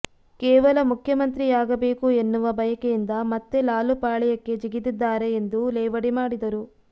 ಕೇವಲ ಮುಖ್ಯಮಂತ್ರಿಯಾಗಬೇಕು ಎನ್ನುವ ಬಯಕೆಯಿಂದ ಮತ್ತೆ ಲಾಲು ಪಾಳಯಕ್ಕೆ ಜಿಗಿದಿದ್ದಾರೆ ಎಂದು ಲೇವಡಿ ಮಾಡಿದರು